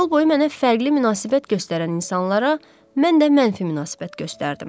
Yol boyu mənə fərqli münasibət göstərən insanlara mən də mənfi münasibət göstərdim.